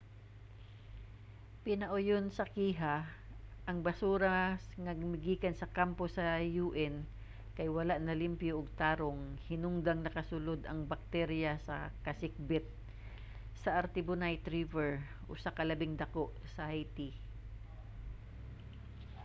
pinauyon sa kiha ang basura nga migikan sa kampo sa un kay wala nalimpyo og tarong hinungdang nakasulod ang bakterya sa kasikbit sa artibonite river usa sa labing dako sa haiti